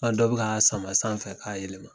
dɔ bɛ ka sama sanfɛ k'a yɛlɛma.